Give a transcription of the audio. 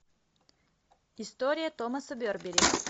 история томаса бербери